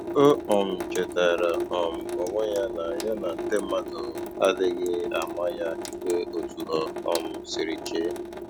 O um chetara um onwe ya na ya na ndị mmadụ adịghị ama ya ikpe otu o um siri chee